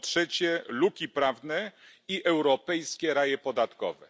Po trzecie, luki prawne i europejskie raje podatkowe.